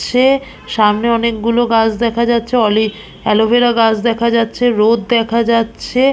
সে সামনে অনেকগুলো গাছ দেখা যাচ্ছে অলিভ অ্যালোভেরা গাছ দেখা যাচ্ছে রোদ দেখা যাচ্ছে।